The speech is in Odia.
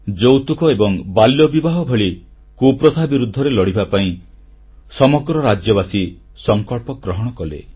ଯୌତୁକ ଏବଂ ବାଲ୍ୟବିବାହ ଭଳି କୁପ୍ରଥା ବିରୁଦ୍ଧରେ ଲଢ଼ିବା ପାଇଁ ସମଗ୍ର ରାଜ୍ୟବାସୀ ସଂକଳ୍ପ ଗ୍ରହଣ କଲେ